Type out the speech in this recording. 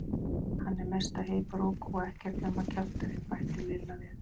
Hann er mesta heybrók og ekkert nema kjafturinn bætti Lilla við.